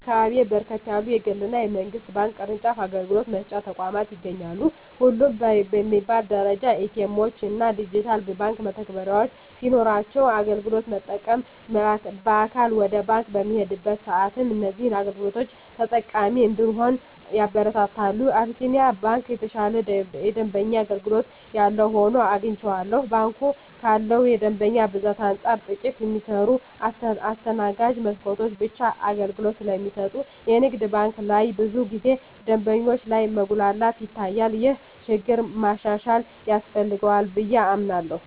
በአካባቢየ በርከት ያሉ የግል እና የመንግስት ባንክ ቅርጫፍ አገልግሎት መስጫ ተቋማት ይገኛሉ። ሁሉም በሚባል ደረጃ ኤ.ቲ. ኤምዎች እና ዲጂታል የባንክ መተግበሪያዎች ሲኖሯቸው አገልግሎት ለመጠቀም በአካል ወደ ባንክ በምንሄድበት ሰአትም እዚህን አገልግሎቶች ተጠቃሚ እንድንሆን ያበረታታሉ። የአቢስንያ ባንክ የተሻለ የደንበኛ አገልግሎት ያለው ሆኖ አግኝቸዋለሁ። ባንኩ ካለው የደንበኛ ብዛት አንፃር ጥቂት የሚሰሩ የማስተናገጃ መስኮቶች ብቻ አገልግሎት ስለሚሰጡ የንግድ ባንክ ላይ ብዙ ጊዜ ደንበኞች ላይ መጉላላት ይታያል። ይህ ችግር ማሻሻያ ያስፈልገዋል ብየ አምናለሁ።